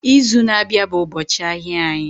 Izu na-abịa bụ ụbọchị ahịa anyị